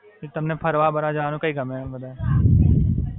તમને ફરવા-બરવા જવાનું કયા ગમે વધારે?